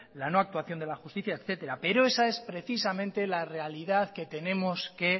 la no actuación de la justicia etcétera pero esa es precisamente la realidad que tenemos que